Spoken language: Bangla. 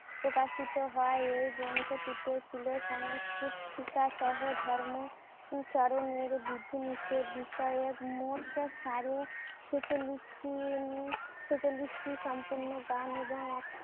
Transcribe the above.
প্রকাশিত হয়। এই গ্রন্থটিতে ছিল সংস্কৃতি শিক্ষা সহ ধর্ম চারনের বিধিনিশেদ বিষয়ক ছেচল্লিশটি উম ছেচল্লিশটি সম্পূর্ণ গান এবং